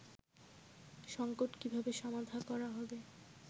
সঙ্কট কীভাবে সমাধা করা হবে